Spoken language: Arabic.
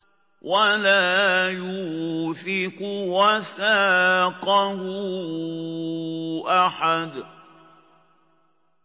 وَلَا يُوثِقُ وَثَاقَهُ أَحَدٌ